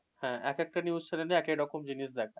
হ্যাঁ, একেকটা news channel এ একেক রকম জিনিস দেখায়।